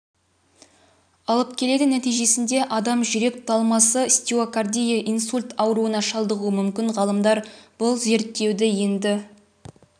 алып келеді нәтижесінде адам жүрек талмасы стеокардия инсульт ауруына шалдығуы мүмкін ғалымдар бұл зерттеуді енді